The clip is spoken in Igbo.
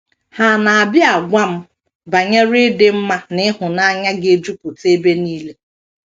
Ha na - abịa agwa m banyere ịdị mma na ịhụnanya ga - ejupụta ebe nile....